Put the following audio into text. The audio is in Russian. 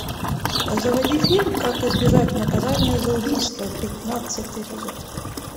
заводи фильм как избежать наказания за убийство пятнадцатый эпизод